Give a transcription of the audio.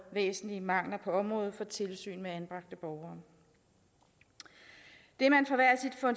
væsentlige mangler på området for tilsyn med anbragte borgere det